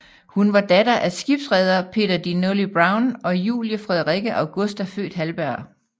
Hun var datter af skibsreder Peter de Nully Brown og Julie Frederikke Augusta født Halberg